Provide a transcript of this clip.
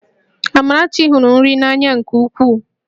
Amarachi hụrụ nri n'anya nke ukwuu